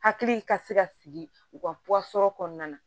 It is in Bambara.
Hakili ka se ka sigi u ka kɔnɔna na